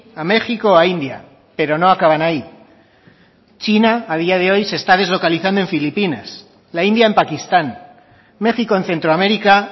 a méxico a india pero no acaban ahí china a día de hoy se está deslocalizando en filipinas la india en pakistán méxico en centro américa